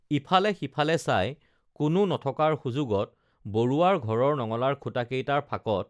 ইফালে সিফালে চাই কোনো নথকাৰ সুযোগত বৰুৱাৰ ঘৰৰ নঙলাৰ খুঁটাকেইটাৰ ফাঁকত